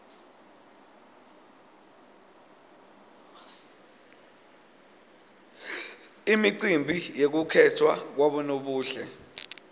imicimbi yekukhetfwa kwabonobuhle